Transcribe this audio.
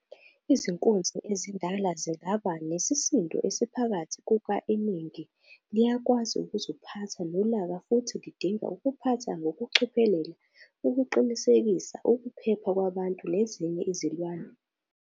Izinkunzi ezindala zingaba nesisindo esiphakathi kuka-Iningi liyakwazi ukuziphatha nolaka futhi lidinga ukuphatha ngokucophelela ukuqinisekisa ukuphepha kwabantu nezinye izilwane.